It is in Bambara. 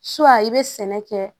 i bɛ sɛnɛ kɛ